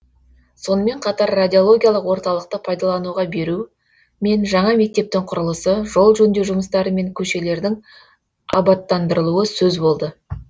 сонымен қатар радиологиялық орталықты пайдалануға беру мен жаңа мектептің құрылысы жол жөндеу жұмыстары мен көшелердің абаттандырылуы сөз болды